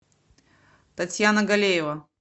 татьяна галеева